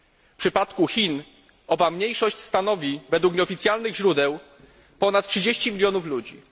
W przypadku Chin owa mniejszość stanowi według nieoficjalnych źródeł ponad 30 milionów ludzi.